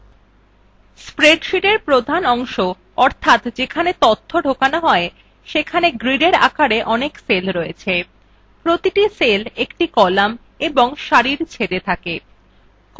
spreadsheetএর প্রধান অংশ অর্থাৎ যেখানে data ঢোকানো হয় সেখানে gridএর আকারে অনেক cell রয়েছে প্রতিটি cell একটি column এবং সারি ছেদ a থাকে